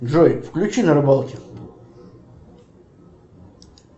джой включи на рыбалке